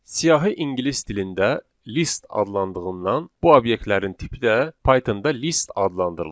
Siyahı ingilis dilində list adlandığından bu obyektlərin tipi də Pythonda list adlandırılır.